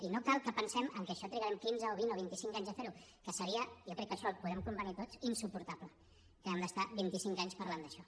i no cal que pensem que això trigarem quinze o vint o vint i cinc anys a fer ho que seria jo crec que en això hi podem convenir tots insuportable que hàgim d’estar vint i cinc anys parlant d’això